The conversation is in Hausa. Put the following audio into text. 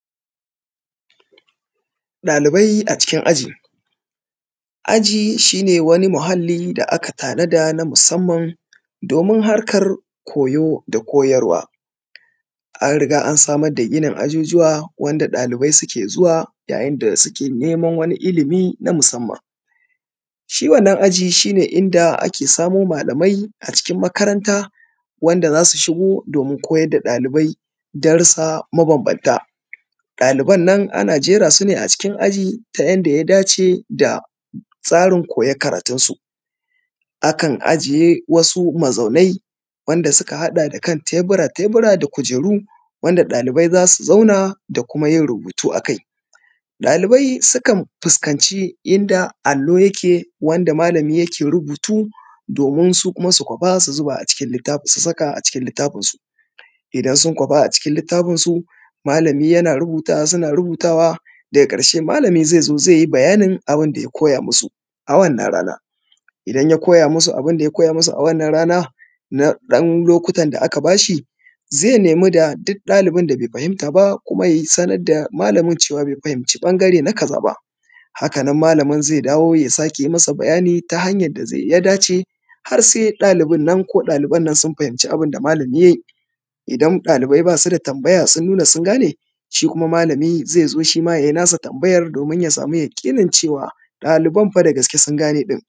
dalibai a cikin aji aji shine wani muhalli da aka tanaza na samman domin harkan koyo da koyarwa an riga an samar da ajujuwa inda dalibai suke zuwa yayin kowo da koyarwa shiwannan ajin inda ake samo malamai acikin makaranta inda zasu shigo domin koyar da dalibai darussa ma ban ban ta daliban nan ana jerasu ne cikin aji ta yadda ya dace da tsarin koyan karatun su akan ajiye wasu mazaunai wanda ya hada da ka tabura tabura da kujeru wanda dalibai zasu zauna da kuma yin rubutu akai dalibai sukan fuskanci inda alo yake wanda malami yakeyin rubutu domin su kuma su kwasa su zuba a cikin littafin su idan sun kwafa a cikin littafi su malami na rubutawa suna rubutawa daga karshe malami zai zo zaiyi bayanin abun da ya koya musu a wannan rana idan ya koya musu abunda ya koya musu na wannan rana na dan lokutan da aka bashi zai nemi da duk dalibin bai fahimta ba kuma da malamin cewa bai fahimci bangare na kaza ba hakanan malamin zai dawo ya sake mai bayani ta hanyan daya dace har sai daliban nan sun fahimci abunda malami yayi idan dalibai basu da tambaya sun nuna sun gane shi malami zai zo yai nasa tambayan domin ya samu yaki cewa lallai daliban sun gane